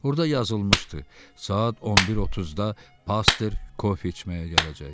Orda yazılmışdı: Saat 11:30-da pastor kofe içməyə gələcək.